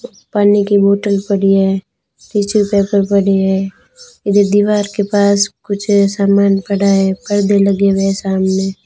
पानी की बोतल पड़ी है पीछे पेपर पड़ी है यदि दीवार के पास मुझे सामान पड़ा है परदे लगे है सामने।